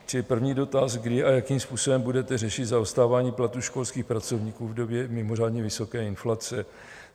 Čili první dotaz: Kdy a jakým způsobem budete řešit zaostávání platů školských pracovníků v době mimořádně vysoké inflace?